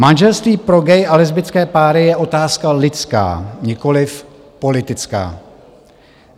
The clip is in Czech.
Manželství pro gay a lesbické páry je otázka lidská, nikoliv politická.